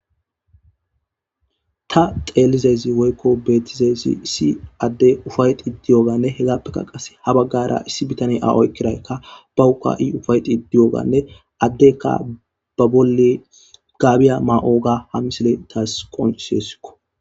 Ta xeelizezi woykko beetizeezi issi adde ufayti diyoganne hegappekka qase ha baggara issi bitane a oykkiraykka bahuka7i ufayti diyoganne addekka ba bolle gaabiya ma7oga ha misile taas qoniseesikko.